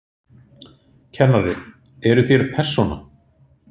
Kennari: Eruð þér persóna?